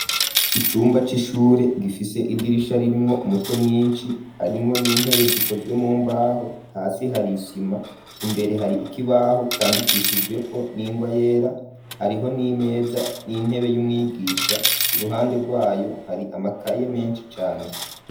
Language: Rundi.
Icumba c'ishure, gifise idirisha, ririmwo umuco mwinshi; harimwo n'intebe, zikozwe mumbaho; hasi hari isima, imbere hari ikibaho, candikishijweko, n'ingwa yera; hariho n'imeza, n'intebe, y'umwigisha; iruhande rwayo, hari amakaye menshi cane.